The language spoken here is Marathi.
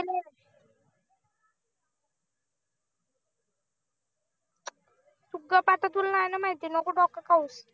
तु गप्प आता तुला नाही ना माहिती नको डोकं खाऊस